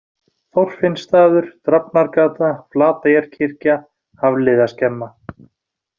Þorfinnsstaður, Drafnargata, Flateyjarkirkja, Hafliðaskemma